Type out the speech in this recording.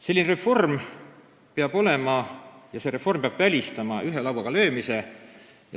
Selline reform peab välistama ühe lauaga löömise.